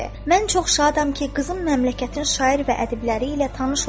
"Mən çox şadam ki, qızım məmləkətin şair və ədiblər ilə tanış olur.